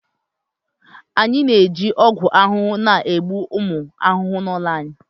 Anyị na-eji ọgwụ ahụhụ na-egbu ụmụ ahụhụ n'ụlọ anyị